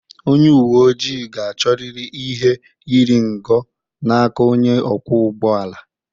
Onye uwe ojii ga-achọrịrị ihe iri ngo n'aka onye ọkwọ ụgbọ ala